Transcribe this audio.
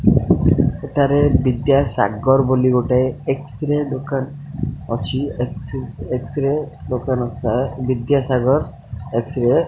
ଏଠାରେ ବିଦ୍ୟାସାଗର ବୋଲି ଗୋଟେ ଏକ୍ସସ୍ରେ ଦୋକାନ ଅଛି ଏକ୍ସ ଏକ୍ସସ୍ରେ ରେ ଦୋକାନ ସାର୍ ବିଦ୍ୟା ସାଗର ।